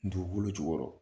Dugukolo jukɔrɔ